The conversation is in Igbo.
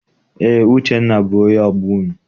Eé, Uchenna bụ onye ọgbọ unu.